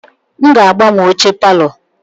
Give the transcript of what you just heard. M ga-agbanwe oche palọ.